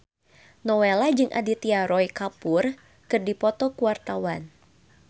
Nowela jeung Aditya Roy Kapoor keur dipoto ku wartawan